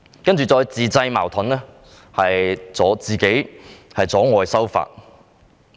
接着，當局自製矛盾阻礙修法。